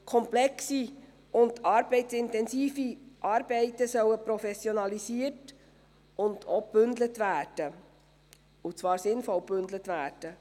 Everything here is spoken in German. Komplexe und arbeitsintensive Arbeiten sollen professionalisiert und auch gebündelt werden – und zwar sinnvoll gebündelt werden.